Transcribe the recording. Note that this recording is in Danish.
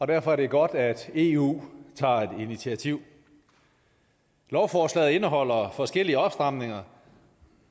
derfor er det godt at eu tager et initiativ lovforslaget indeholder forskellige opstramninger